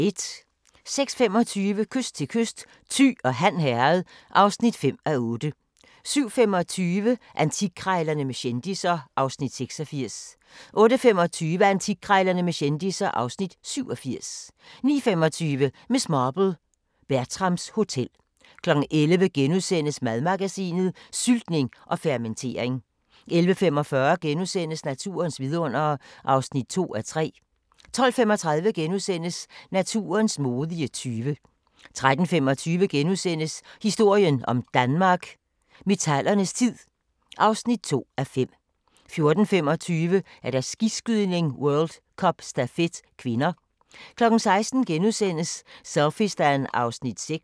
06:25: Kyst til kyst: Thy og Han Herred (5:8) 07:25: Antikkrejlerne med kendisser (Afs. 86) 08:25: Antikkrejlerne med kendisser (Afs. 87) 09:25: Miss Marple: Bertrams Hotel 11:00: Madmagasinet: Syltning og fermentering * 11:45: Naturens vidundere (2:3)* 12:35: Naturens modige tyve * 13:25: Historien om Danmark: Metallernes tid (2:5)* 14:25: Skiskydning: World Cup - stafet (k) 16:00: Selfiestan (Afs. 6)*